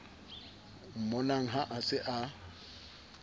mmonang ha a se a